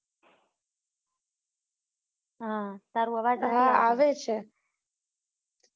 હા તારો આવાજ હા આવે છે